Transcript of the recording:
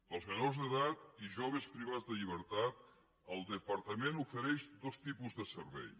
als menors d’edat i joves privats de llibertat el departament ofereix dos tipus de servei